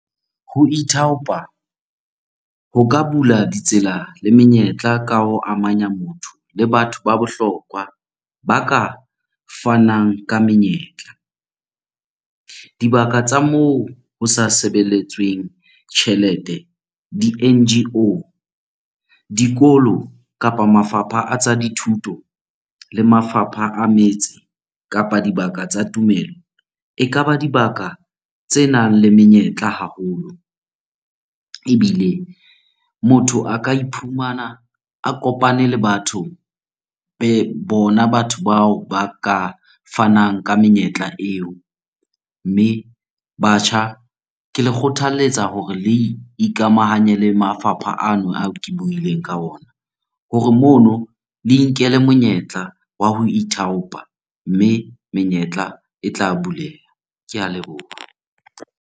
Ho ithaopa ho ka bula ditsela le menyetla ka ho amanya motho le batho ba bohlokwa ba ka fanang ka menyetla. Dibaka tsa moo ho sa sebeletsweng tjhelete, di-N_G_O, dikolo kapa mafapha a tsa dithuto le mafapha a metse kapa dibaka tsa tumelo, ekaba dibaka tsenang le menyetla haholo. Ebile motho a ka iphumana a kopane le batho bona batho bao ba ka fanang ka menyetla eo. Mme, batjha ke le kgothaletsa hore le ikamahanye le mafapha ano ao ke buileng ka ona hore mono le inkele monyetla wa ho ithaopa, mme menyetla e tla bulela. Ke a leboha.